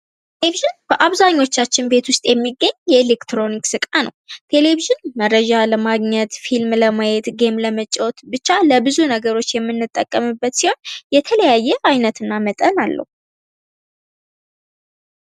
ቴሌቪዥን በአብዛኞቻችን ቤት ውስጥ የሚገኝ ኤሌክትሮኒክስ ዕቃ ነው ቴሌቪዥን መረጃ ለማግኘት ፊልም ለማየት ጌም ለመጫዎት ብቻ ለብዙ ነገሮች የምንጠቀምበት ሲሆን የተለያየ አይነትና መጠን አለው ::